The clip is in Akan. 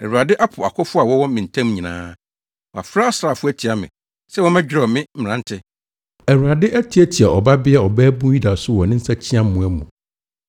“Awurade apo akofo a wɔwɔ me ntam nyinaa; wafrɛ asraafo atia me sɛ wɔmmɛdwerɛw me mmerante. Awurade atiatia Ɔbabea Ɔbabun Yuda so wɔ ne nsakyiamoa mu.